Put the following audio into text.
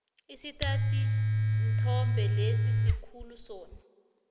isithathinthombe lesi sikhulu sona